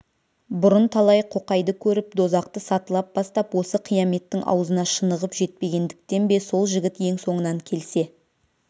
бұрын талай қоқайды көріп дозақты сатылап бастап осы қияметтің аузына шынығып жетпегендіктен бе сол жігіт ең соңынан келсе